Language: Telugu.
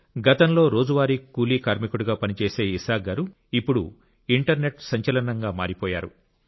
గతంలో రోజువారీ కూలీ కార్మికుడిగా పనిచేసే ఇసాక్ గారు ఇప్పుడు ఇంటర్నెట్ సంచలనంగా మారిపోయారు